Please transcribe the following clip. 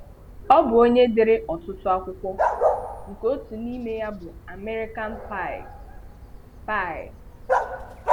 Ọ bụ onye dere ọtụtụ akwụkwọ, nke otu n'ime ya bụ American Pie. Pie.